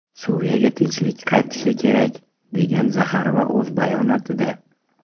Suriyaga tinchlik qaytishi kerak”, degan Zaxarova o‘z bayonotida.